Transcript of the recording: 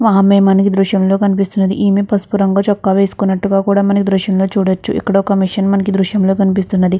ఒక అమ్మాయి మనకి ఈ దృశ్యంలో కనిపిస్తూ ఉన్నది. ఈమె పసుపు రంగు చుక్క వేసుకున్నట్టుగా కూడా మనం ఈ దృశ్యాన్ని చూడవచ్చు. ఇక్కడ ఒక మిషన్ మనకి ఈ దృశ్యంగా కనిపిస్తూ ఉన్నది.